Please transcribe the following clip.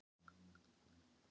Þeir litu skelkaðir hvor á annan.